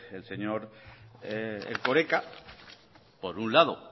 el señor erkoreka por un lado